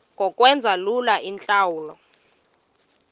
ngokwenza lula iintlawulo